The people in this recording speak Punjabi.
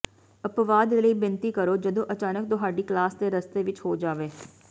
ਅਪਵਾਦ ਲਈ ਬੇਨਤੀ ਕਰੋ ਜਦੋਂ ਅਚਾਨਕ ਤੁਹਾਡੀ ਕਲਾਸ ਦੇ ਰਸਤੇ ਵਿੱਚ ਹੋ ਜਾਵੇ